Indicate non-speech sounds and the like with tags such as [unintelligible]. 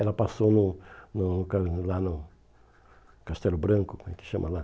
Ela passou no no [unintelligible] lá no Castelo Branco, como é que chama lá?